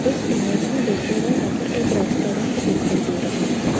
इस इमेज में देखिएगा यहां पर एक रेस्टोरेंट दिखाई दे रहा है।